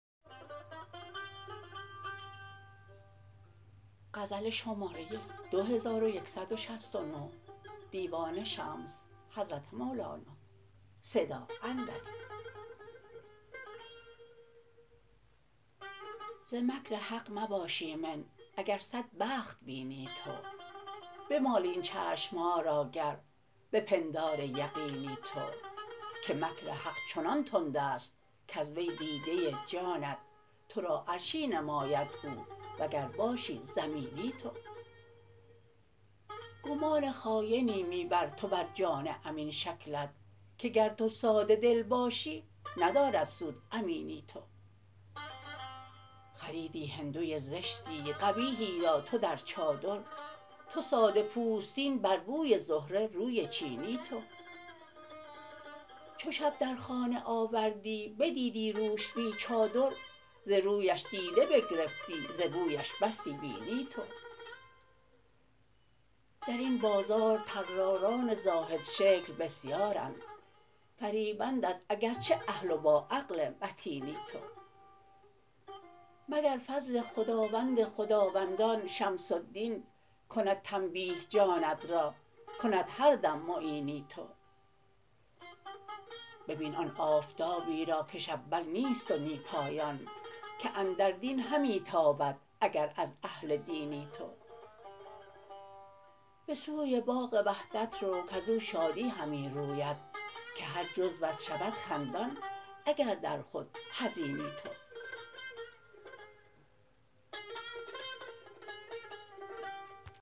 ز مکر حق مباش ایمن اگر صد بخت بینی تو بمال این چشم ها را گر به پندار یقینی تو که مکر حق چنان تند است کز وی دیده جانت تو را عرشی نماید او و گر باشی زمینی تو گمان خاینی می بر تو بر جان امین شکلت که گر تو ساده دل باشی ندارد سود امینی تو خریدی هندوی زشتی قبیحی را تو در چادر تو ساده پوستین بر بوی زهره روی چینی تو چو شب در خانه آوردی بدیدی روش بی چادر ز رویش دیده بگرفتی ز بویش بستی بینی تو در این بازار طراران زاهدشکل بسیارند فریبندت اگر چه اهل و باعقل متینی تو مگر فضل خداوند خداوندان شمس الدین کند تنبیه جانت را کند هر دم معینی تو ببین آن آفتابی را کش اول نیست و نی پایان که اندر دین همی تابد اگر از اهل دینی تو به سوی باغ وحدت رو کز او شادی همی روید که هر جزوت شود خندان اگر در خود حزینی تو